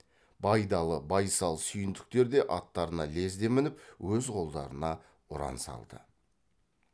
байдалы байсал сүйіндіктер де аттарына лезде мініп өз қолдарына ұран салды